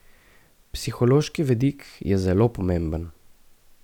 Psihološki vidik je zelo pomemben.